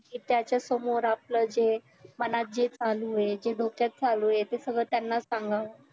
त्यासमोर आपलं जे मनात जे चालू हाय जे डोक्यात चालू हाय ते सगळं त्यांनाच सांगावं